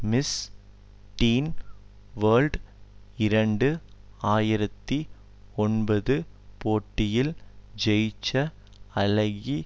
miss teen world இரண்டு ஆயிரத்தி ஒன்பது போட்டியில் ஜெயிச்ச அழகி